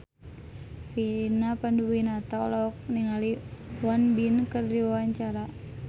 Vina Panduwinata olohok ningali Won Bin keur diwawancara